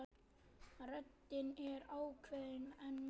Röddin er ákveðin en mild.